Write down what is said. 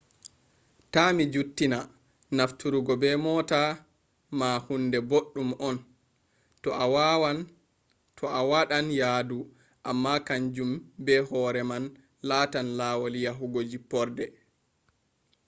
ta mi juttina nafturgo be moota ma huunde boɗɗum on to a waaɗan yaadu amma kanjum be hoore man laatan laawol yahugo jipporde